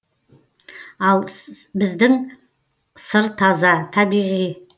ал біздің сыр таза табиғи